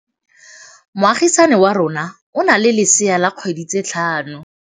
Moagisane wa rona o na le lesea la dikgwedi tse tlhano.